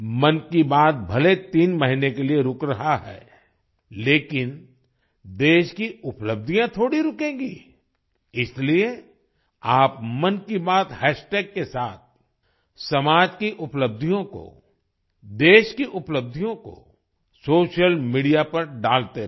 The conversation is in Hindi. मन की बात भले तीन महीने के लिए रूक रहा है लेकिन देश की उपलब्धियां थोड़ी रुकेंगी इसलिए आप मन की बात हैशटैग के साथ समाज की उपलब्धियों को देश की उपलब्धियों को सोशल मीडिया पर डालते रहें